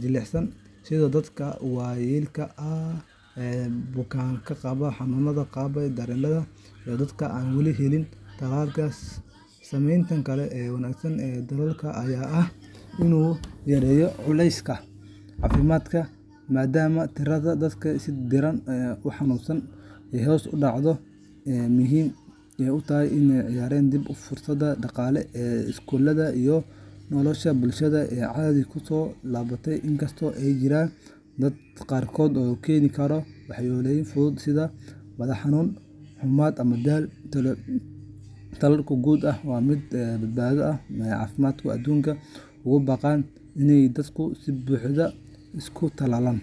jilicsan sida dadka waayeelka ah, bukaannada qaba xanuunnada daba dheeraaday, iyo dadka aan weli helin tallaalka. Saameynta kale ee wanaagsan ee tallaalka ayaa ah in uu yareeyo culayska saaran isbitaallada iyo xarumaha caafimaadka, maadaama tirada dadka si daran u xanuunsada ay hoos u dhacdo. Intaa waxaa dheer, tallaalku wuxuu door muhiim ah ka ciyaaray dib u furista dhaqaalaha, iskuulada, iyo noloshii bulshada oo caadi kusoo laabatay. Inkastoo ay jiraan dad qaarkood uu ku keeni karo waxyeelooyin fudud sida madax xanuun, xummad ama daal, tallaalku guud ahaan waa mid badbaado leh oo wax ku ool ah, waana sababta ay hay’adaha caafimaadka aduunka ugu baaqaan in dadku si buuxda isu tallaalaan.